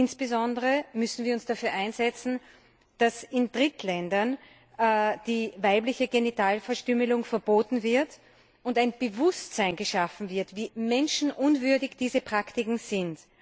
Insbesondere müssen wir uns dafür einsetzen, dass in Drittländern die weibliche Genitalverstümmelung verboten wird und ein Bewusstsein dafür geschaffen wird, wie menschenunwürdig diese Praktiken sind.